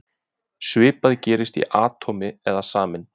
Svipað gerist í atómi eða sameind.